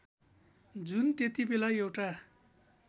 जुन त्यतिबेला एउटा